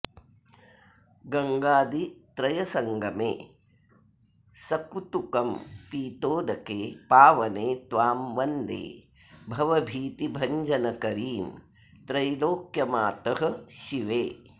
गङ्गादित्रयसङ्गमे सकुतुकं पीतोदके पावने त्वां वन्दे भवभीतिभञ्जनकरीं त्रैलोक्यमातः शिवे